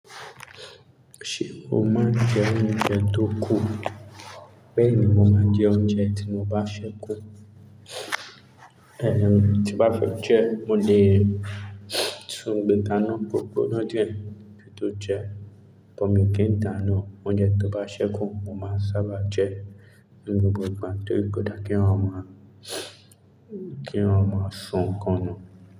Ṣé o máa ń jẹ oúnjẹ tó kù? Bẹ́ẹ̀ni, mo máa ń jẹ oúnjẹ tí mo bá ṣẹ́kù. Ẹ̀n, tí n bá fẹ́ jẹ, mo lè tun gbe kana ko gbona diẹ ki n tó jẹ, but mi ò kí n dàánú. Oúnjẹ tó bá ṣẹ́kù, mo máa ń sábà jẹ ní gbogbo ìgbà tori ko dara kí eeyan máa sọ nnkàn nu.